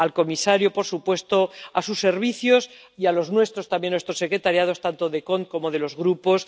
dar las gracias al comisario, por supuesto, a sus servicios y a los nuestros también, a nuestras secretarías, tanto de la Comisión CONT como de los grupos